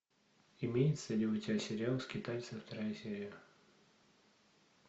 имеется ли у тебя сериал скитальцы вторая серия